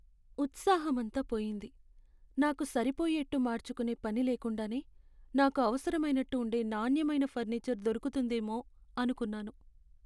ఉత్సాహమంతా పోయింది, నాకు సరిపోయేట్టు మార్చుకునే పని లేకుండానే, నాకు అవసరమైనట్టు ఉండే నాణ్యమైన ఫర్నిచర్ దొరుకుతుందేమో అనుకున్నాను.